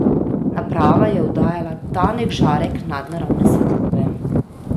Naprava je oddajala tanek žarek nadnaravne svetlobe.